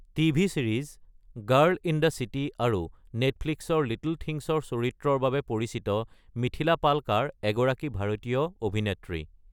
TV series girl in the city আৰু নেটফ্লিক্সৰ little থিংছৰ চৰিত্ৰৰ বাবে পৰিচিত মিথিলা পালকাৰ এগৰাকী ভাৰতীয় অভিনেত্ৰী।